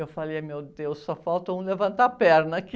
Eu falei, ai, meu Deus, só falta um levantar a perna aqui.